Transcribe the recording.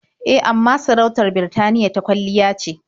E, amma sarautar Birtaniya ta kwalliya ce.